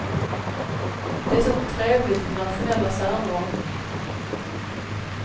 Det är så trevligt med nationella särdrag.